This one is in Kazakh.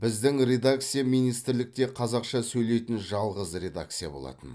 біздің редакция министрлікте қазақша сөйлейтін жалғыз редакция болатын